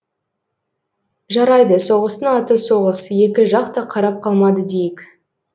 жарайды соғыстың аты соғыс екі жақ та қарап қалмады дейік